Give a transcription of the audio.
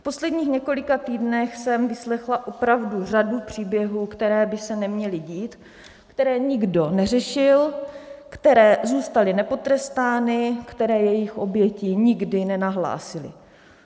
V posledních několika týdnech jsem vyslechla opravdu řadu příběhů, které by se neměly dít, které nikdo neřešil, které zůstaly nepotrestány, které jejich oběti nikdy nenahlásily.